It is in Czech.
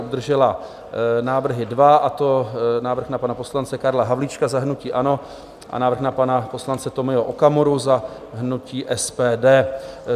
Obdržela návrhy dva, a to návrh na pana poslance Karla Havlíčka za hnutí ANO a návrh na pana poslance Tomio Okamuru za hnutí SPD.